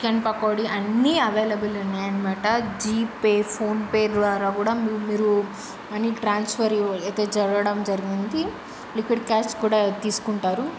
--కన్ పకోడీ అన్ని అవైలబుల్ యన్నమాట జీపే ఫోన్ పే ద్వారా మీరు మనీ ట్రాన్స్ఫర్ జరగడం జరిగింది. లిక్విడ్ క్యాష్ కూడా తీసుకుంటారు.